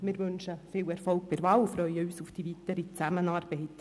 Wir wünschen viel Erfolg bei der Wahl und freuen uns auf die weitere Zusammenarbeit.